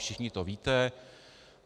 Všichni to víte.